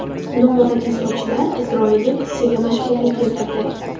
Noodatiy sochlar isroillik qizchaga mashhurlik keltirdi .